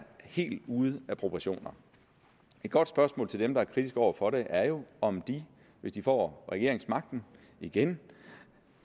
helt ude af proportioner et godt spørgsmål til dem der er kritiske over for det er jo om de hvis de får regeringsmagten igen